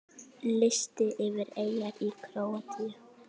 Listi yfir eyjar í Króatíu